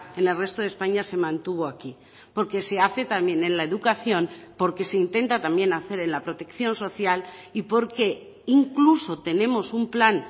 en el resto de españa se mantuvo aquí porque se hace también en la educación porque se intenta también hacer en la protección social y porque incluso tenemos un plan